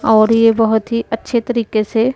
और ये बहुत ही अच्छे तरीके से--